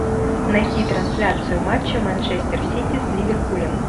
найти трансляцию матча манчестер сити с ливерпулем